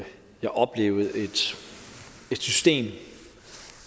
jeg oplevede et system